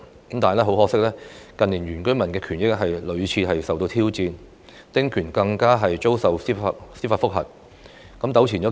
但很可惜，近年原居民的權益屢次受到挑戰，丁權更遭受司法覆核，有關的官司糾纏數年。